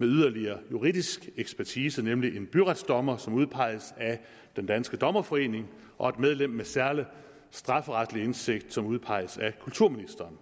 yderligere juridisk ekspertise nemlig en byretsdommer som udpeges af den danske dommerforening og et medlem med særlig strafferetlig indsigt som udpeges af kulturministeren